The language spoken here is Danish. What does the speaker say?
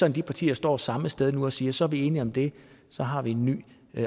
at de partier står samme sted nu og siger så er vi enige om det så har vi en ny